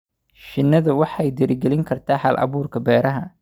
Shinnidu waxay dhiirigelin kartaa hal-abuurka beeraha.